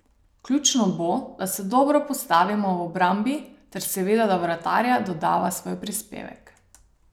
Ključno bo, da se dobro postavimo v obrambi ter seveda da vratarja dodava svoj prispevek.